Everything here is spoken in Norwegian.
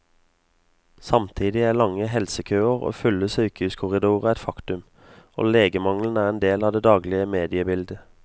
Samtidig er lange helsekøer og fulle sykehuskorridorer et faktum, og legemangelen er en del av det daglige mediebildet.